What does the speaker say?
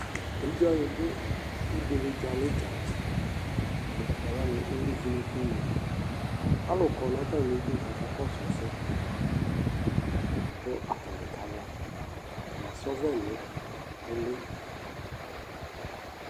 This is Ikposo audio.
Evidzewani dʊ ibweledza nʊ idzǝ Adekawani ewu evi nʊ ikpono Alʊ kɔ nʊ atami udu kʊ akakɔsʊ ɛsɛ Kʊ atani kala Atani edze ɔvlɛ nʊ ʊlɩ